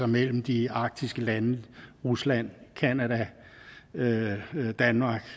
mellem de arktiske lande rusland canada danmark